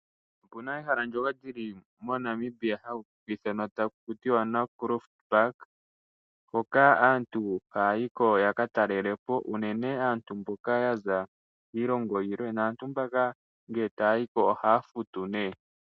Opu na ehala ndyoka li li moNamibia hali ithanwa taku tiwa Naukluft Park, hoka aantu haya yi ko ya ka talele po unene aantu mboka ya za kiilongo yilwe naantu mbaka ngele taya yi ko ohaa futu nduno.